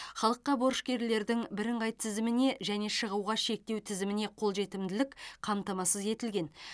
халыққа борышкерлердің бірыңғай тізіміне және шығуға шектеу тізіміне қолжетімділік қамтамасыз етілген